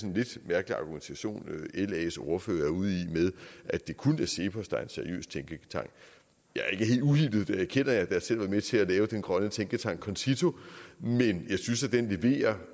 en lidt mærkelig argumentation las ordfører er ude i med at det kun er cepos der er en seriøs tænketank jeg er ikke helt uhildet det erkender jeg da jeg selv var med til at lave den grønne tænketank concito men jeg synes at den leverer